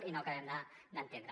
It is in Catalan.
i no ho acabem d’entendre